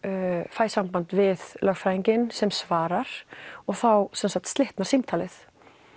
fæ samband við lögfræðinginn sem svarar og þá slitnar símtalið